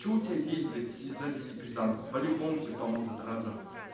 что у тебя есть блять из антидепрессантов по-любому тебе поможет разом